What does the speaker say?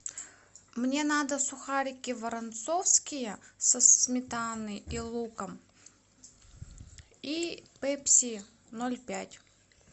мне надо сухарики воронцовские со сметаной и луком и пепси ноль пять